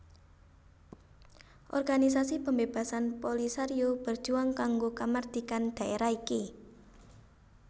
Organisasi pembebasan Polisario berjuang kanggo kamardikan dhaérah iki